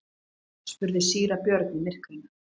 spurði síra Björn í myrkrinu.